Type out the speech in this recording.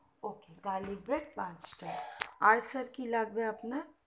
ok garlic bread পাঁচটা আর sir কি লাগবে আপনার